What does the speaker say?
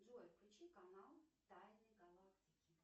джой включи канал тайны галактики